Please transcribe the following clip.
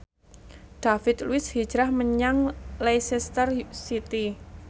David Luiz hijrah menyang Leicester City